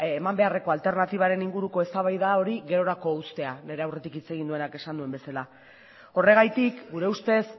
eman beharreko alternatibaren inguruko eztabaida hori gerorako uztea nire aurretik hitz egin duenak esan duen bezala horregatik gure ustez